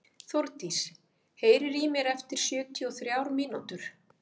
Þórdís, heyrðu í mér eftir sjötíu og þrjár mínútur.